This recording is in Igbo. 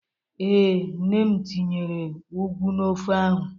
Ee, nne m tinyere ụgwụ n'ofe ahụ.